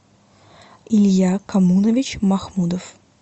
илья коммунович махмудов